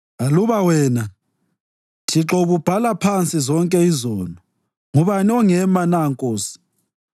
Aluba wena, Thixo ububhala phansi zonke izono, ngubani ongema na Nkosi?